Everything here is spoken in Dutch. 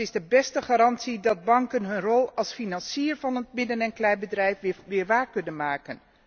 Dat is de beste garantie dat banken hun rol als financier van het midden en kleinbedrijf weer waar kunnen maken.